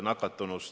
Nii et vastus on jah.